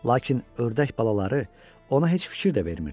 Lakin ördək balaları ona heç fikir də vermirdilər.